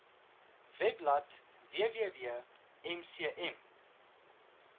webblad www mcm